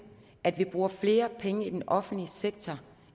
at vi bruger flere penge i den offentlige sektor